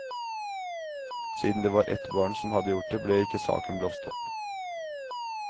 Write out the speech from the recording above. Siden det var et barn som hadde gjort det, ble ikke saken blåst opp.